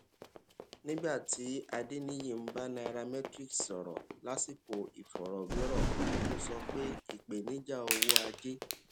nígbà tí adeniyi ń bá nairametrics sọrọ lásìkò ìfọrọwérò kan ó sọ pé ìpèníjà owó ajé